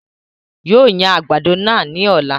Yóò yan àgbàdo náà ní ọ̀la